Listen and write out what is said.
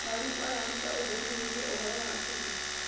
Mwarimũ araruta ũtheri wĩgiĩ ũhoro wa tene.